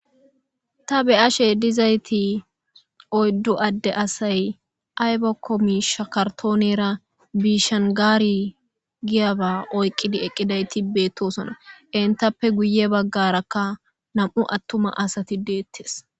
Tha be7ashe dizaythi oyddu adde asay aybako miishsha karthoonera biishangaari giyaba oyqqidi eqqidaythi beeththosona; enthappe guye baggarakka nam7u aththuma asathi deeththes.